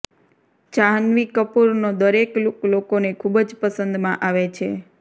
જાહ્નવી કપૂર નો દરેક લુક લોકોને ખુબ જ પસંદ માં આવે છે